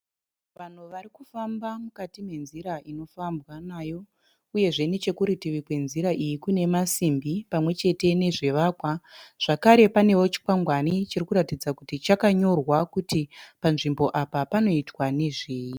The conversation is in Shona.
Vanhu varikufamba mukati me nzira inofambwa nayo. Uyezve nechekurutivi kwenzira iyi kune masimbi pamwe chete nezvivakwa. Zvakare panewo chikwangwani chirikuratidza kuti chakanyorwa kuti panzvimbo apa panoitwa nezvei.